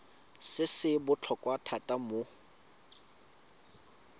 se se botlhokwa thata mo